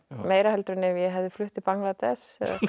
meira heldur en ef ég hefði flutt til Bangladesh